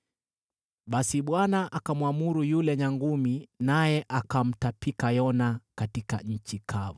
Basi Bwana akamwamuru yule nyangumi, naye akamtapika Yona katika nchi kavu.